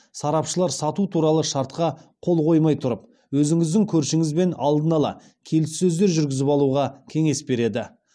сарапшылар сату туралы шартқа қол қоймай тұрып өзіңіздің көршіңізбен алдын ала келіссөздер жүргізіп алуға кеңес береді